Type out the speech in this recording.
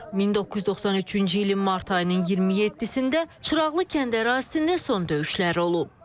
1993-cü ilin mart ayının 27-də Çıraqlı kənd ərazisində son döyüşləri olub.